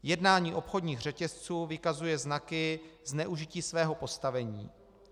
Jednání obchodních řetězců vykazuje znaky zneužití svého postavení.